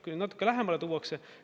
Kui nüüd natuke lähemale tuuakse …